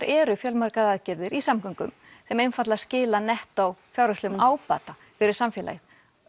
eru fjölmargar aðgerðir í samgöngum sem einfaldlega skila nettó fjárhagslegum ábata fyrir samfélagið